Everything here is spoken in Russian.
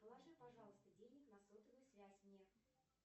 положи пожалуйста денег на сотовую связь мне